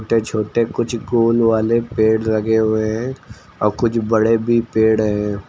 छोटे छोटे कुछ गोल वाले पेड़ लगे हुए हैं और कुछ बड़े भी पेड़ हैं।